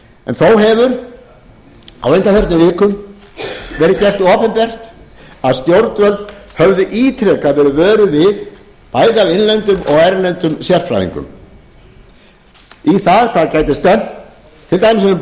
en þó hefur á undanförnum vikum verið gert opinbert að stjórnvöld höfðu ítrekað verið vöruð við bæði af innlendum og erlendum sérfræðingum í hvað gæti stefnt til dæmis